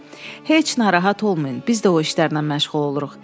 Heç narahat olmayın, biz də o işlərlə məşğul oluruq.